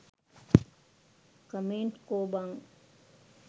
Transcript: Comment කෝ බං?